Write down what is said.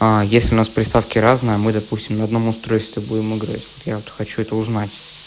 а если у нас приставки разные мы допустим на одном устройстве будем играть вот я вот хочу это узнать